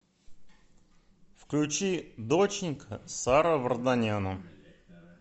включи доченька саро варданяна